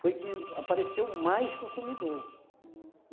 Foi que apareceu mais consumidor.